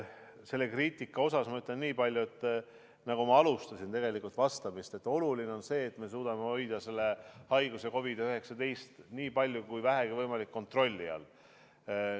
Selle kriitika kohta ma ütlen nii palju, nagu ma vastamist alustasin, et oluline on see, et me suudame hoida selle haiguse, COVID-19, nii palju kui vähegi võimalik, kontrolli all.